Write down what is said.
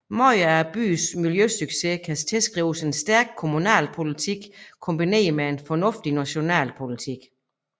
Meget af byens miljøsucces kan tilskrives en stærk kommunalpolitik kombineret med en fornuftig national politik